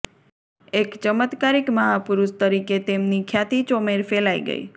એક ચમત્કારિક મહાપુરુષ તરીકે તેમની ખ્યાતિ ચોમેર ફેલાઈ ગઈ